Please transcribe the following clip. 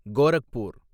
Gorakhpur